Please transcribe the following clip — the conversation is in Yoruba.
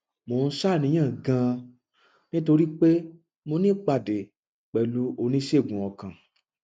mo ń ṣàníyàn ganan nítorí pé mo ní ìpàdé pẹlú oníṣègùn ọkàn